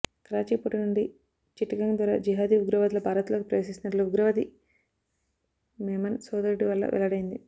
Karachi port నుండి చిట్టగాంగ్ ద్వారా జీహాదీ ఉగ్రవాదులు భారత్లోకి ప్రవేశిస్తున్నట్లు ఉగ్రవాది మెమన్ సోదరుడి వల్ల వెల్లడైంది